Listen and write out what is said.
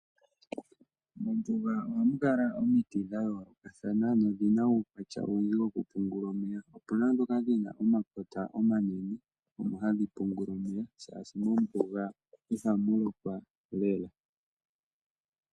Mombuga ohamu kala omiti dha yoolokathana nodhina omaukwatya ogendji gokupungula otuna ndhoka dhina omakota omanene mono hadhi pungula omeya oshoka mombuga ihamu lokwa lela.